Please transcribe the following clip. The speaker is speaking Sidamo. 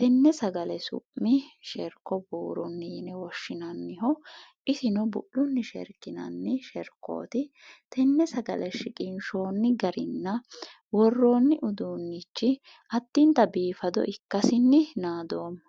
tenne sagale su'mi sherko buurunni yine woshshinanniho bu'lunni sherkinanni sherkooti. Tenne sagale shiqinshoonni garinna woroonni uduunnichi addintayi biifado ikkasinni naadoomma.